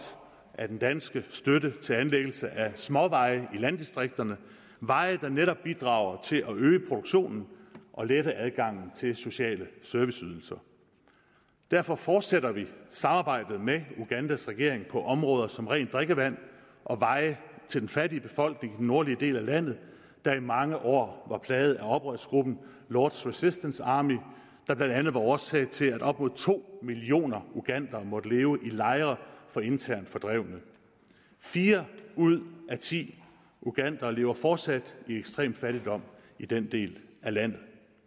af den danske støtte til anlæggelse af småveje i landdistrikterne veje der netop bidrager til at øge produktionen og lette adgangen til sociale serviceydelser derfor fortsætter vi samarbejdet med ugandas regering på områder som rent drikkevand og veje til den fattige befolkning i den nordlige del af landet der i mange år var plaget af oprørsgruppen lords resistance army der blandt andet var årsag til at op mod to millioner ugandere måtte leve i lejre for internt fordrevne fire ud af ti ugandere lever fortsat i ekstrem fattigdom i den del af landet